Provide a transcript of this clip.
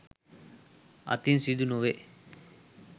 අතින් සිදුනොවේ.